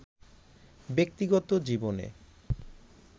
ব্যক্তিগত জীবনে